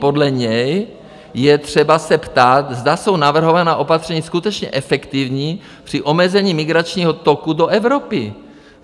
Podle něj je třeba se ptát, zda jsou navrhovaná opatření skutečně efektivní při omezení migračního toku do Evropy.